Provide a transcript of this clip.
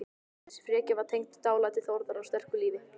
Þessi frekja var tengd dálæti Þórðar á sterku lífi.